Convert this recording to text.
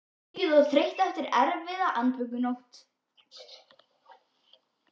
Syfjuð og þreytt eftir erfiða andvökunótt.